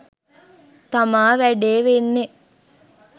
තමා වැඩේ වෙන්නේ